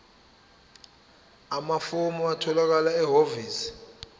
amafomu atholakala ehhovisi